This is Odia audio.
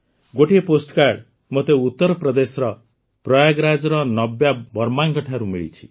ଗୋଟିଏ ପୋଷ୍ଟକାର୍ଡ଼ ମୋତେ ଉତ୍ତରପ୍ରଦେଶର ପ୍ରୟାଗରାଜର ନବ୍ୟା ବର୍ମାଙ୍କଠାରୁ ବି ମିଳିଛି